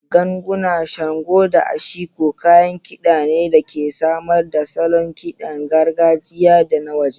Ganguna, shango, da ashiko kayan kida ne da ke samar da salon kidan gargajiya da na waje.